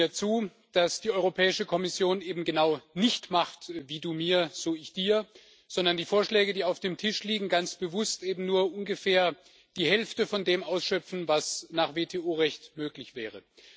Stimmen Sie mir zu, dass die Europäische Kommission eben genau nicht Wie du mir, so ich dir macht, sondern dass die Vorschläge, die auf dem Tisch liegen, ganz bewusst eben nur ungefähr die Hälfte von dem ausschöpfen, was nach WTO Recht möglich wäre?